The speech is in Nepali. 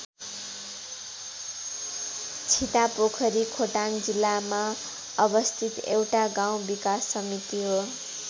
छितापोखरी खोटाङ जिल्लामा अवस्थित एउटा गाउँ विकास समिति हो।